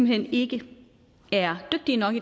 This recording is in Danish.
hen ikke er dygtige nok